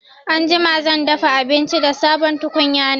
Anjima zan dafa abinci da sabon tukunya na